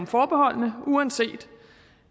forbeholdene uanset